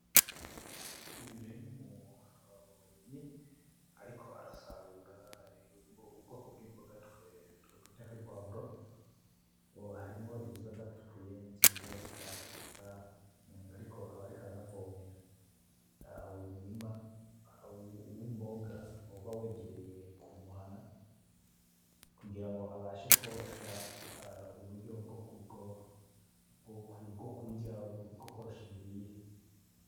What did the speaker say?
Uyu rero numu rimyi ariko arasarura ubwoko bwimboga twokwita kwo ari pwavro, harimwo iziba zara tukuye nizindi zitaratukura ariko aba ariko aranavomera. Uyu murima wimboga uba wegereye kumuhana kugira abashe kworosha uburyo bwo bwokurya, bwokworosha imirire.